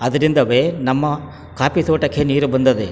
ಅದ್ರಿಂದವೆ ನಮ್ಮ ಕಾಫಿ ತೋಟಕ್ಕೆ ನೀರು ಬಂದದೆ --